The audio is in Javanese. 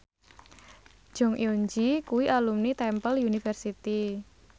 Jong Eun Ji kuwi alumni Temple University